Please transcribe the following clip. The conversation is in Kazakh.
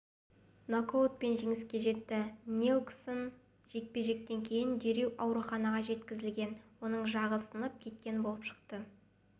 нокаутпен жеңіске жетті нельсон жекпе-жектен кейін дереу ауруханаға жеткізілген оның жағы сынып кеткен болып шықты